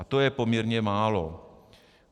A to je poměrně málo.